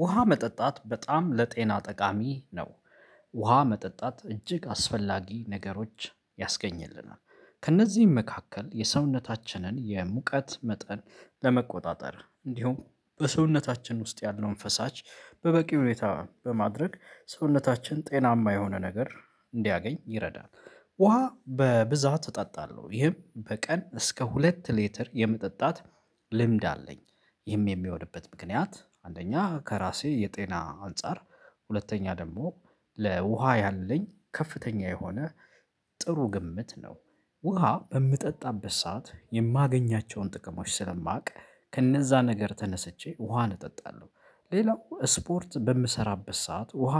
ውሃ መጠጣት በጣም ለጤና ጠቃሚ ነው። ውሃ መጠጣት እጅግ አስፈላጊ ነገሮች ያስገኝልናል ከእነዚህም መካከል የሰውነታችንን የሙቀት መጠን ለመቆጣጠር እንዲሁም በሰውነታችን ውስጥ ያለውን ፈሳሽ በበቂ ሁኔታ በማድረግ ሰውነታችን ጤናማ የሆነ ነገር እንዲያገኝ ይረዳል። ውሃ በብዛት እጠጣለሁ ይህም በቀን እስከ ሁለት ሌትር የመጠጣት ልምድ አለኝ። ይህም የሚወድበት ምክንያት አንደኛ ከራሴ የጤና አንፃር ሁለተኛ ደግሞ ለውሃ ያለኝ ከፍተኛ የሆነ ጥሩ ግምት ነው። ውሃ በምጠጣበት ሰዓት የማገኛቸውን ጥቅሞች ስለማውቅ ከእነዛ ነገር ተነስቼ ውሃን እጠጣለሁ። ሌላው ስፖርት በምሰራበት ሰዓት ውሃ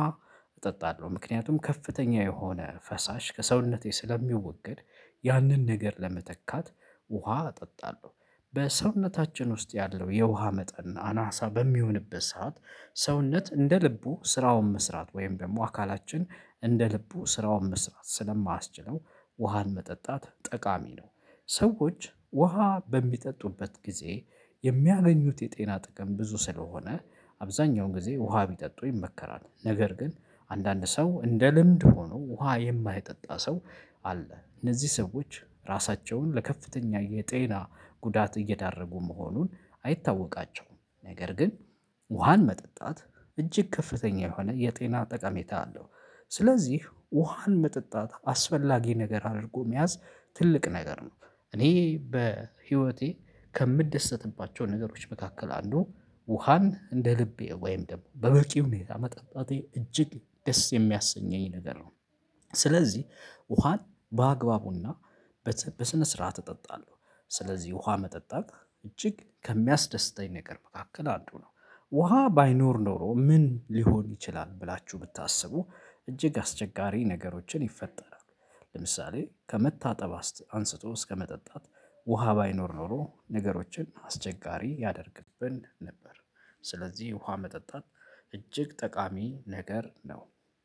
እጠጣለሁ ምክንያቱም ከፍተኛ የሆነ ፈሳሽ ከሰውነቴ ስለሚወገድ። ያንን ነገር ለመተካት ውሃ እጠጣለሁ። በሰውነታችን ውስጥ ያለው የውሃ መጠን አናሳ በሚሆንበት ሰዓት ሰውነት እንደ ልቡ ስራውን መስራት ወይም ደግሞ አካላችን እንደ ልቡ ስራውን መስራት ስለማያስችለው ውሃን መጠጣት ጠቃሚ ነው። ሰዎች ውሃ በሚጠጡበት ጊዜ የሚያገኙት የጤና ጥቅም ብዙ ስለሆነ አብዛኛውን ጊዜ ውሃ ቢጠጡ ይመከራል። ነገር ግን አንዳንድ ሰው ልምድ ሆኖ ውሃ የማይጠጣ ሰው አለ። እነዚህ ሰዎች ራሳቸውን ለከፍተኛ የጤና ጉዳት እየዳረጉ መሆኑን አይታወቃቸውም ነገር ግን ውሃን መጠጣት እጅግ ከፍተኛ የሆነ የጤና ጠቀሜታ አለው። ስለዚህ ውሃን መጠጣት አስፈላጊ ነገር አድርጎ መያዝ ትልቅ ነገር ነው። እኔ በህይወቴ ከምደሰትባቸው ነገሮች መካከል አንዱ ውሃን እንደ ልቤ ወይም ደግሞ በበቂው መጠጣጤ እጅግ ደስ የሚያሰኘኝ ነገር ነው። ስለዚህ ውሃን በአግባቡና በስነ ስርዓት እጠጣለሁ። ስለዚህ ውሃ መጠጣት እጅግ ከሚያስደስተኝ ነገር መካከል አንዱ ነው። ውሃ ባይኖር ኖሮ ምን ሊሆን ይችላል? ብላችሁ ብታስቡ እጅግ አስቸጋሪ ነገሮችን ይፈጠራል። ለምሳሌ ከመታጠብ አንስቶ እስከመጠጣት ውሃ ባይኖር ኖሮ ነገሮችን አስቸጋሪ ያደርግብን ነበር። ስለዚህ ውሃ መጠጣት እጅግ ጠቃሚ ነገር ነው።